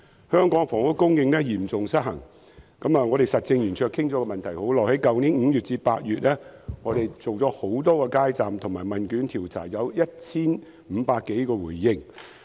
香港的房屋供應嚴重失衡，我們實政圓桌就這問題已討論多時，並在去年5月至8月設立多個街站進行問卷調查，接獲 1,500 多份回應。